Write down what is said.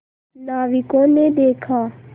नाविकों ने देखा